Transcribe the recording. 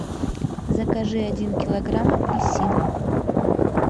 закажи один килограмм апельсин